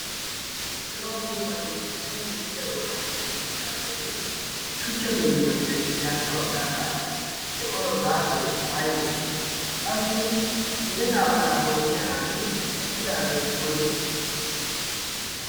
cira puupati sippe misiliyaa bollan shiiqi uttidaageeti shuchcha gimbbiyaappe garssa baggaara de'o gaasoy aybee qassi yeletaa baalaa bonchchiya naati eqqidaageeti woyse?